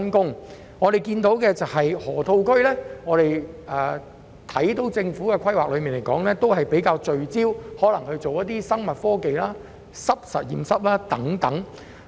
據我們所知，河套區方面，政府的規劃較聚焦於發展生物科技和濕實驗室等。